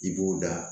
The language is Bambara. I b'o da